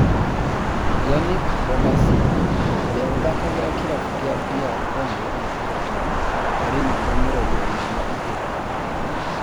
Yannick Bolasie ũria ũthakagira kĩravũkĩa DR Congo na Everton arĩ namba mĩrongo ĩĩrĩ na igĩrĩ